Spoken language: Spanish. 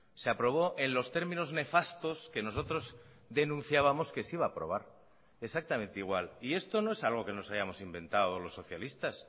se aprobó en los términos nefastos que nosotros denunciábamos que se iba a aprobar exactamente igual y esto no es algo que nos hayamos inventado los socialistas